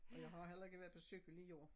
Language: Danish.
Og jeg har heller ikke været på cykel i år